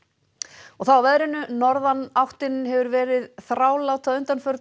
og þá að veðri norðanáttin hefur verið þrálát að undanförnu